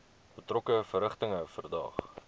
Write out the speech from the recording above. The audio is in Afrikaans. betrokke verrigtinge verdaag